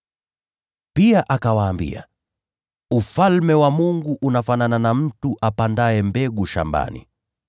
Pia akawaambia, “Ufalme wa Mungu unafanana na mtu apandaye mbegu shambani.